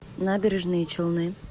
набережные челны